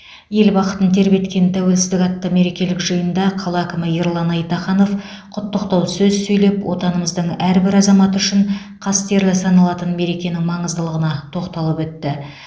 ел бақытын тербеткен тәуелсіздік атты мерекелік жиында қала әкімі ерлан айтаханов құттықтау сөз сөйлеп отанымыздың әрбір азаматы үшін қастерлі саналатын мерекенің маңыздылығына тоқталып өтті